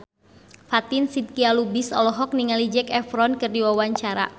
Fatin Shidqia Lubis olohok ningali Zac Efron keur diwawancara